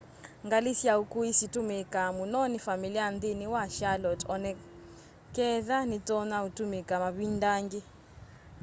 ngali sya ukui situumiika muno ni familia nthini wa charlotte onaketha nitonya utumika mavinda angi